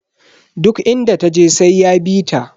Duk inda taje sai ya bita.